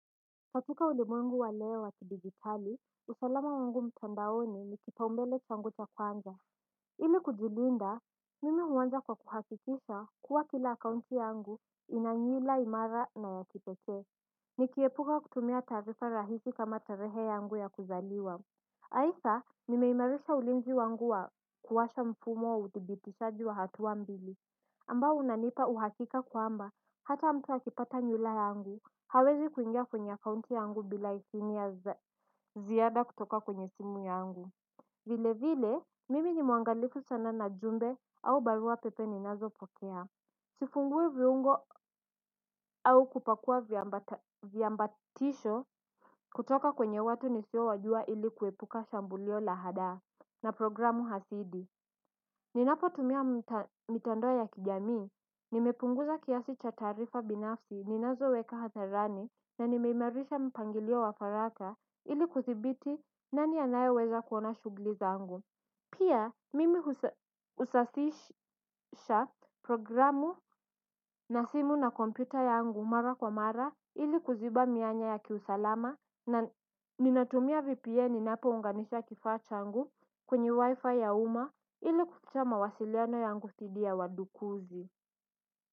Katika ulimwengu wa leo wakidigitali usalama wangu mtandaoni nikipaumbele changu cha kwanza. Ili kujilinda mimi huanza kwa kuhakikisha kuwa kila account yangu inanywila imara na yakipekee. Nikiepuka kutumia taarifa rahisi kama tarehe yangu ya kuzaliwa haidha nimeimarisha ulinzi wangu wa kuwasha mfumo wa uthibibishaji wa hatua mbili ambao unanipa uhakika kwamba hata mtu akipata nywira yangu hawezi kuingia kwenye kaunti yangu bila idhini ya ziada kutoka kwenye simu yangu. Vile vile mimi ni mwangalifu sana na jumbe au barua pepe ni nazo pokea. Sifungui viungo au kupakua viambatisho kutoka kwenye watu nisio wajua ili kuepuka shambulio lahada na programu hasidi. Ninapo tumia mitandoa ya kijamii, nimepunguza kiasi cha taarifa binafsi, ninazo weka hatharani na nimeimerisha mpangilio wa faraka ili kuthibiti nani anaye weza kuona shugli zangu. Pia mimi usasisha programu na simu na kompyuta yangu mara kwa mara ili kuziba mianya ya kiusalama na ninatumia VPN inapo unganisa kifaa changu kwenye wifi ya uma ili kukita mawasiliano yangu thidi ya wadukuzi.